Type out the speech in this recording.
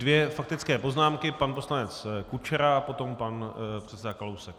Dvě faktické poznámky - pan poslanec Kučera a potom pan předseda Kalousek.